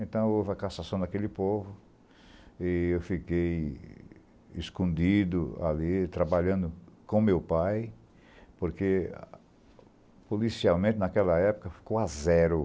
Então, houve a cassação daquele povo e eu fiquei escondido ali, trabalhando com meu pai, porque, policiamento, naquela época, ficou a zero.